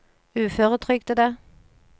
uføretrygdede